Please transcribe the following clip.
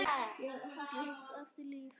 Að skilja eigið líf.